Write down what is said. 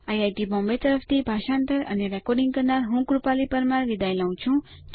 IIT Bombay તરફથી ભાષાંતર કરનાર હું કૃપાલી પરમાર વિદાય લઉં છું